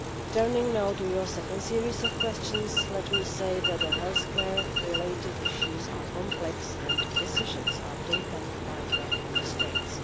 Turning now to your second series of questions, let me say that the healthcare-related issues are complex, and decisions are taken by the Member States.